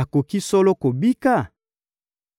akoki solo kobika?